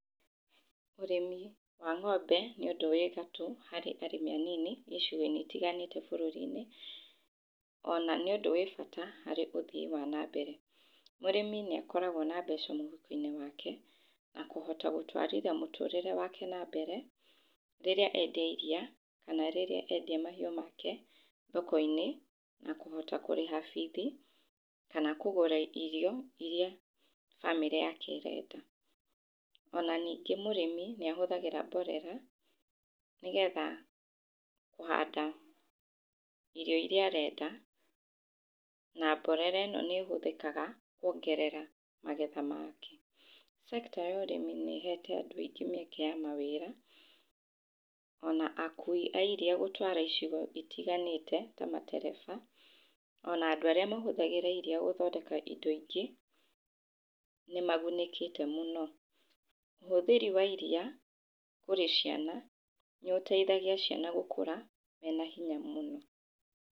Ũrĩmi wa ng'ombe, nĩ ũndũ wĩ gatũ harĩ arĩmi anini icigo-inĩ itiganĩte bũrũrinĩ, ona nĩ ũndũ wĩ bata harĩ ũthii wa nambere. Mũrĩmi nĩ akoragwo na mbeca mũhuko-inĩ wake na kũhota gũtwarithia mũtũrĩre wake na mbere rĩrĩa endia iria kana rĩrĩa endia mahiũ make, thoko-inĩ na kũhota kũrĩha bithi kana kũgũra irio iria bamĩrĩ yake ĩrenda. Ona ningĩ mũrĩmi nĩ ahũthagĩra mborera, nĩ getha kũhanda irio iria arenda na mborera ĩno nĩ ĩhũthĩkaga kuongerera magetha make. Sector ya ũrĩmi nĩ ĩhete anũ aingĩ mĩeke ya mawĩra ona akui a iria gũtwara icigo citiganĩte ta matereba ona andũ arĩa mahũthagĩra iria guthondeka indo ingĩ nĩmagunĩkĩte mũno. Ũhũthĩri wa iria kũrĩ ciana nĩ ũteithagia ciana gũkũra mena hinya mũno.